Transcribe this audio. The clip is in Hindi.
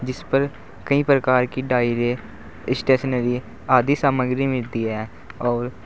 जिसपर कई प्रकार की डायरे ई स्टेशनरी आदि सामग्री मिलती है और--